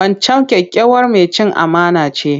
Wancan kyakkyawar mai cin amana ce.